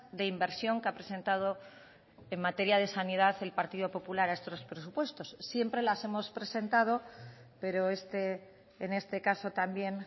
de inversión que ha presentado en materia de sanidad el partido popular a estos presupuestos siempre las hemos presentado pero en este caso también